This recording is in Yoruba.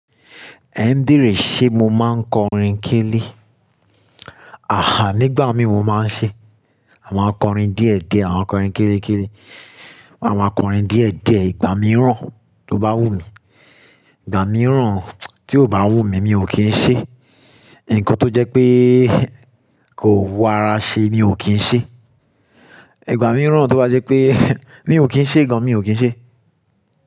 Ẹ ń bèèrè ṣé mo máa ń kọrin kélé? Àhá, nígbà mí mo máa ń ṣe àwọn akọrin díẹ̀díẹ̀, àwọn akọrin kérékéré. Àwọn akọrin díẹ̀díẹ̀ ìgbà mìíràn tó bá wùmí. Ìgbà mìíràn tí ó bá wùmí, mi ò kì n ṣe. Ǹkan tó jẹ́ pé kò wù ará ṣe mi ò kìí ṣe. Ìgbà mìíràn tó bá jẹ́ pé mi ò kìí ṣe gan, mi ò kìí ṣe.